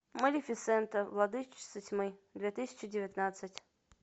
малефисента владычица тьмы две тысячи девятнадцать